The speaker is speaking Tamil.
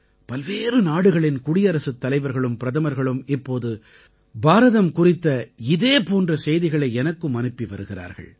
பல்வேறு நாடுகளின் குடியரசுத் தலைவர்களும் பிரதமர்களும் இப்போது பாரதம் குறித்த இதே போன்ற செய்திகளை எனக்கும் அனுப்பி வருகிறார்கள்